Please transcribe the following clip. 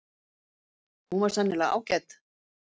Hún var sennilega ágæt.